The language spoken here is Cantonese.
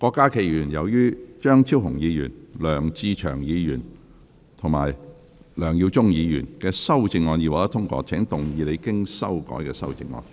郭家麒議員，由於張超雄議員、梁志祥議員及梁耀忠議員的修正案已獲得通過，請動議你經修改的修正案。